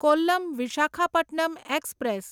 Kollam Visakhapatnam express